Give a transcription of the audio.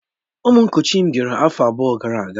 Ụmụ nkuchi m bịara afọ abụọ gara aga